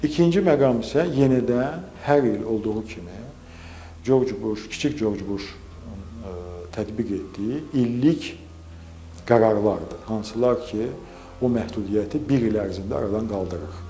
İkinci məqam isə yenə də hər il olduğu kimi, Corc Buş, kiçik Corc Buşun tətbiq etdiyi illik qərarlardır, hansılar ki, o məhdudiyyəti bir il ərzində aradan qaldırır.